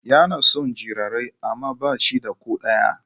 Yana son jarirai amma ba shi da ko ɗaya